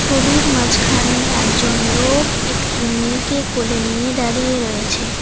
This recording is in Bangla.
ছবির মাঝখানে একজন লোক একটি মেয়েকে কোলে নিয়ে দাঁড়িয়ে রয়েছে।